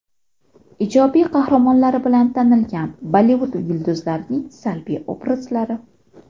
Ijobiy qahramonlari bilan tanilgan Bollivud yulduzlarining salbiy obrazlari .